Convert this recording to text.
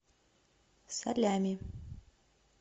салями